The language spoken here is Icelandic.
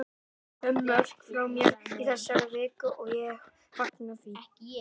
Fimm mörk frá mér í þessari viku og ég fagna því.